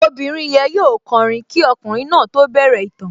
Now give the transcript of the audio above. Obìnrin yẹn yóò kọrin kí ọkùnrin náà tó bẹ̀rẹ̀ ìtàn